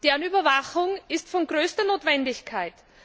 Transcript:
Deren Überwachung ist von größter Notwendigkeit.